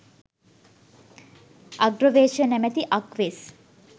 අග්‍රවේශය නමැති අක් වෙස්